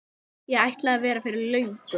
Ég ætlaði að vera fyrir löngu.